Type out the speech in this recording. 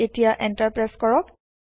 এতিয়া enter press কৰক